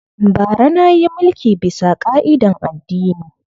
Bara na yi mulki bisa ƙa'idan addini